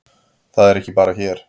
Það er ekki bara hér.